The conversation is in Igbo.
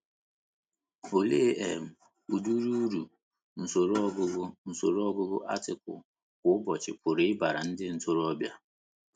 Olee um udiri Uru usoro ọgụgụ usoro ọgụgụ atịkụlụ kwa ụbọchị pụrụ ịbara ndị ntorobịa?